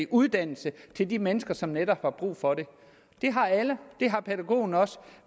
uddannelse til de mennesker som netop har brug for det det har alle det har pædagogen også